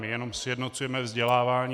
My jenom sjednocujeme vzdělávání.